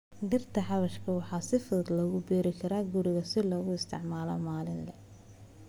Dhirta xawaashka waxaa si fudud loogu beeri karaa guriga si loogu isticmaalo maalinle.